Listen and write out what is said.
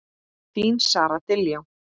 Þín Sara Diljá.